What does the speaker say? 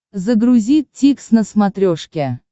загрузи дтикс на смотрешке